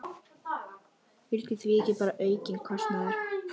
Þetta á sérstaklega við um barnafjölskyldur.